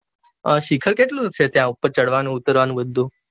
અઅ શિખર કેટલું છે ત્યાં ઉપર ચઢવાનું ઉતારવાનું બધું